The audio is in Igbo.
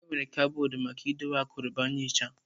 Enwere kaboodu maka idobe akụrụngwa nhicha.